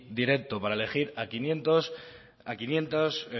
directo para elegir a quinientos